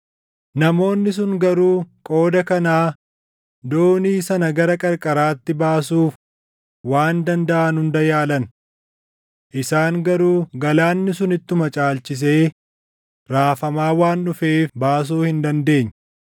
Namoonni sun garuu qooda kanaa doonii sana gara qarqaraatti baasuuf waan dandaʼan hunda yaalan. Isaan garuu galaanni sun ittuma caalchisee raafamaa waan dhufeef baasuu hin dandeenye.